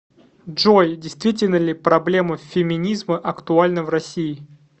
джой действительно ли проблема феминизма актуальна в россии